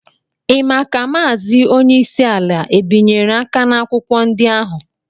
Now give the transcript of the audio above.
Ị mà kà Maazị onyeisi ala é bịnyere aka na akwụkwọ ndị ahụ?